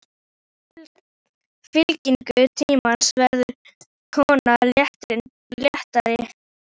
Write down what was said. Í fyllingu tímans verður konan léttari.